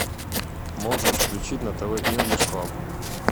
можешь включить на тв инглиш клаб